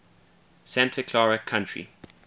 santa clara county